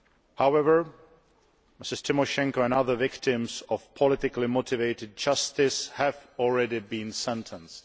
However, Ms Tymoshenko and other victims of politically motivated justice have already been sentenced.